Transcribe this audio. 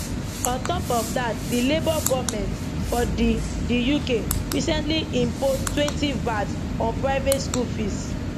on top of dat di labour goment for di di uk recently imposetwentyvat on private school fees